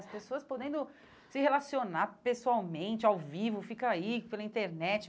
As pessoas podendo se relacionar pessoalmente, ao vivo, fica aí pela internet.